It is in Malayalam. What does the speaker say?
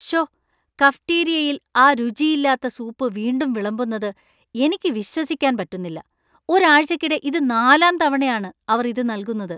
ശ്ശോ, കഫറ്റീരിയയിൽ ആ രുചിയില്ലാത്ത സൂപ്പ് വീണ്ടും വിളമ്പുന്നത് എനിക്ക് വിശ്വസിക്കാൻ പറ്റുന്നില്ല. ഒരാഴ്ചയ്ക്കിടെ ഇത് നാലാം തവണയാണ് അവർ ഇത് നൽകുന്നത്.